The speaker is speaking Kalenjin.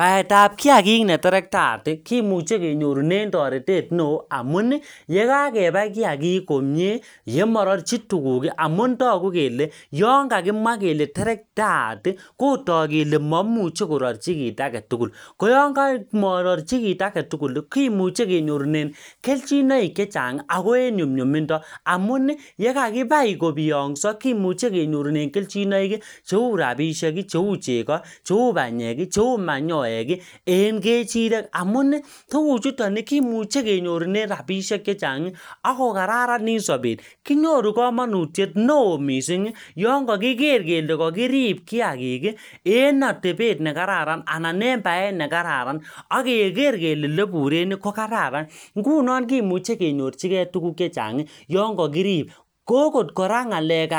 baetab kiagik neterktaat kimuche kenyoru neoo amuni yekakebai kiagik komie yemorchi tuguk ii amun togu kele yonkakimwa kele terkataati kotok kele momuche kororchi kit agetugul koyon komororchi kit agetuguli kimuche kenyorunen kelchinoik chechang ii akoenyunyumindo amuni yekakibai kobiongso kimuche kenyorunen kelchinoiki cheu rapishek cheu chego cheu banyeki cheu manyoek en kechirek amuni tuguchoton kimuche kenyorunen rapishek chechang ii akokararanit sobet kinyoru komonutiet neoo mising yoon kokiker kele kokirib kiagiki en otebet nekararan anan en baet nekararan akeker kele ele iburen kokararan ngunon kimuche kenyorchikee tuguk chechang yoon kokirib ko okot ngaleb